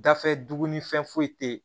Gafe duguni fɛn foyi tɛ yen